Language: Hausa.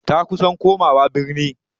Ta kusan komawa birni.